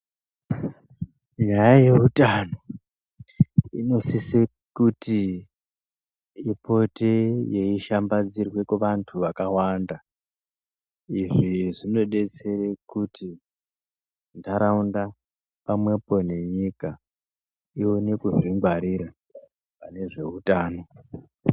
Nyaya yeutano inosise kuti ipote yeishambadzirwe kuvantu vakawanda. Izvi zvinodetsere kuti ntaraunda pamwepo nenyika ione kuzvingwarira pane zveutano.